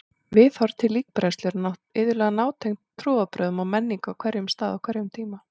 Viðhorf til líkbrennslu eru iðulega nátengd trúarbrögðum og menningu á hverjum stað á hverjum tíma.